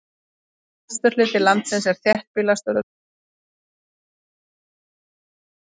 Vesturhluti landsins er þéttbýlastur og um það bil þriðjungur landsmanna býr í bæjum og borgum.